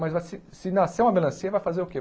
Mas vai se se nascer uma melancia, vai fazer o quê?